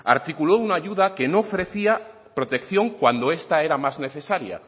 articuló una ayuda que no ofrecía protección cuando esta era más necesaria